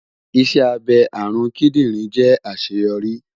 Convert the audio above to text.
Iṣẹ abẹ arun kidinrin jẹ aṣeyọri